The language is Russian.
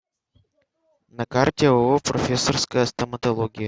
на карте ооо профессорская стоматология